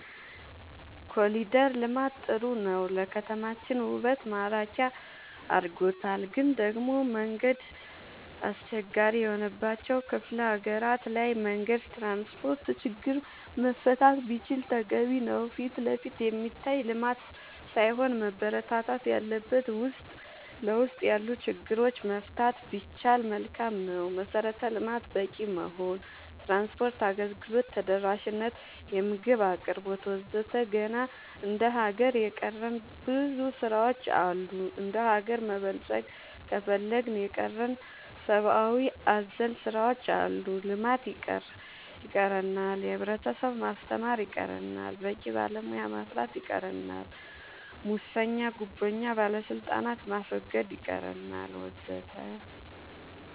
ኮሊደር ልማት ጥሩ ነው ለከተማችን ውበት ማራኪ አርጎታል ግን ደሞ መንገድ አስቸጋሪ የሆነባቸው ክፍለ ሀገራት ላይ መንገድ ትራንስፖርት ችግር መፈታት ቢችል ተገቢ ነው ፊትለፊት የሚታይ ልማት ሳይሆን መበረታታት ያለበት ውስጥ ለውስጥ ያሉ ችግሮች መፍታት ቢቻል መልካም ነው መሰረተ ልማት በቂ መሆን ትራንስፓርት አገልግሎት ተደራሽ ነት የምግብ አቅርቦት ወዘተ ገና እንደ ሀገር የቀረን ብዙ ስራ ዎች አሉ እንደሀገር መበልፀግ ከፈለግን የቀረን ሰባአዊ አዘል ስራዎች አሉ ልማት ይቀረናል የህብረተሰብ ማስተማር ይቀረናል በቂ ባለሙያ ማፍራት ይቀረናል ሙሰኛ ጉቦኛ ባለስልጣናት ማስወገድ ይቀረናል ወዘተ